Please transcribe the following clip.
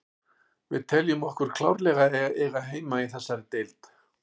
Við teljum okkur klárlega eiga heima í þessari deild.